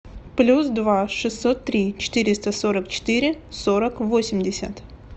плюс два шестьсот три четыреста сорок четыре сорок восемьдесят